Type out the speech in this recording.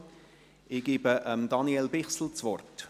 Ich gebe Daniel Bichsel das Wort.